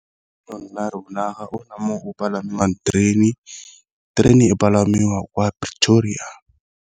rona ga o na mo go palamang terene, terene e palamiwa kwa Pretoria.